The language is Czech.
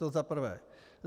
To za prvé.